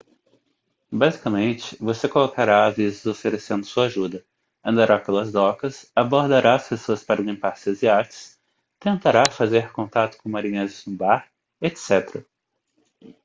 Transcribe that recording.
basicamente você colocará avisos oferecendo sua ajuda andará pelas docas abordará as pessoas para limpar seus iates tentará fazer contato com marinheiros no bar etc